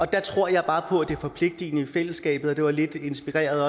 der tror jeg bare på det forpligtende i fællesskabet og også lidt inspireret